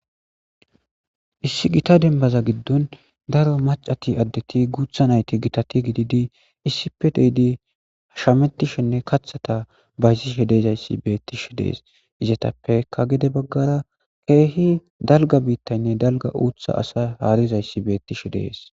Isi gita dembaza gidon daro macati Aditi guutha nayti gitati gididi isippe de'idi shametishene kathata bayzishe de'izasi beethishe de'es. Izetape gede bagara keehi dalga biitaynne dalga uutha asa haarizaysi beetishe de'es.